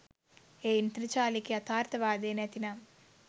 එය ඉන්ද්‍රජාලික යථාර්ථවාදය නැතිනම්